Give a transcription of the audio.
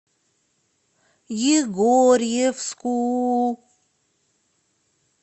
егорьевску